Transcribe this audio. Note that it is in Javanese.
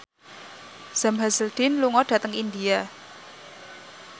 Sam Hazeldine lunga dhateng India